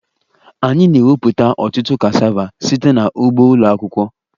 Anyị na-ewepụta ọtụtụ cassava site na ugbo ụlọ akwụkwọ